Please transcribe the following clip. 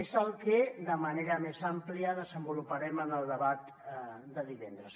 és el que de manera més àmplia desenvoluparem en el debat de divendres